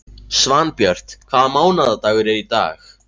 Svanbjört, hvaða mánaðardagur er í dag?